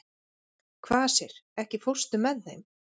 Kvasir, ekki fórstu með þeim?